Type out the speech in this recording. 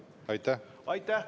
Aitäh!